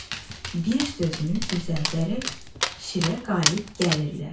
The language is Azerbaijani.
bir sözünü düzəldərək şirə qalib gəlirlər.